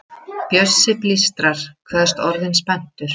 Bjössi blístrar, kveðst orðinn spenntur.